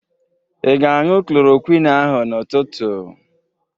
Ị ga-añụ klorokwin ahụ n'ụtụtụ?